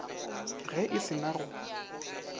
ge e se na go